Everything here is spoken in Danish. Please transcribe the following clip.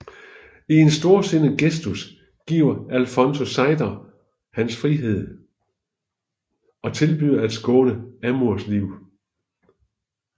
I en storsindet gestus giver Alfonso Zeidar hans frihed og tilbyder at skåne Amurs liv